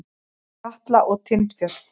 Katla og Tindfjöll.